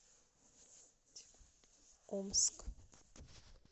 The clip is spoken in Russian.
омск